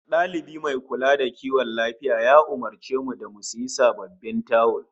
Dalibi mai kula da kiwon lafiya ya umurce mu da mu sayi sababbin tawul